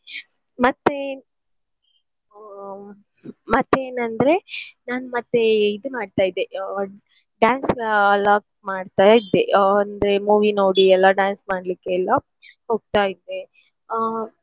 ಮತ್ತೆ ಆ ಮತ್ತೇನಂದ್ರೆ ನಾನ್ ಮತ್ತೆ ಇದು ಮಾಡ್ತಾ ಇದ್ದೆ ಆ dance log ಮಾಡ್ತಾ ಇದ್ದೆ ಆ ಅಂದ್ರೆ movie ನೋಡಿ ಎಲ್ಲ dance ಮಾಡ್ಲಿಕೆಲ್ಲ ಹೋಗ್ತಾ ಇದ್ದೆ.